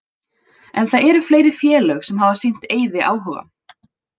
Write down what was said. En það eru fleiri félög sem hafa sýnt Eiði áhuga.